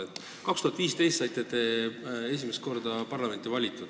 Aastal 2015 valiti teid esimest korda parlamenti.